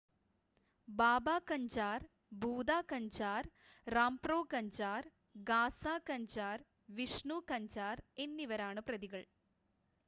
ബാബ കഞ്ചാർ ഭൂത കഞ്ചാർ റാംപ്രോ കഞ്ചാർ ഗാസ കഞ്ചാർ വിഷ്ണു കഞ്ചാർ എന്നിവരാണ് പ്രതികൾ